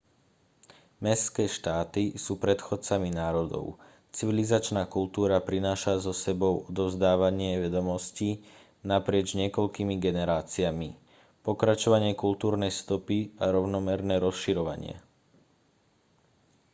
mestské štáty sú predchodcami národov civilizačná kultúra prináša so sebou odovzdávanie vedomostí naprieč niekoľkými generáciami pokračovanie kultúrnej stopy a rovnomerné rozširovanie